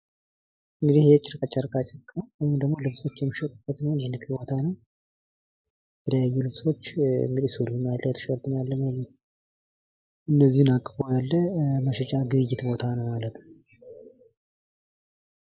እንግዲህ ጨርቅ ጨርቃጨርቅ ነዉ ወይም ደግሞ ልብሶች የሚሸጡት የንግድ ቦታ ነዉ። የተለያዩ ልብሶች ሱሪም አለ። ቲሸርትም አለ እነዚህን አቅፎ የያዘ የግብይት ቦታ ነዉ ማለት ነዉ።